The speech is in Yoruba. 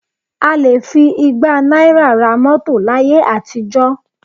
A lè fi igba náírà ra mọ́tò láyé àtijọ́